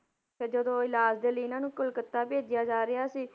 ਫਿਰ ਜਦੋਂ ਇਲਾਜ਼ ਦੇ ਲਈ ਇਹਨਾਂ ਨੂੰ ਕਲਕੱਤਾ ਭੇਜਿਆ ਜਾ ਰਿਹਾ ਸੀ,